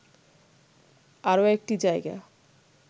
আরো একটি জায়গা